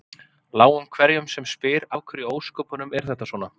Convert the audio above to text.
Láum hverjum sem spyr af hverju í ósköpunum er þetta svona?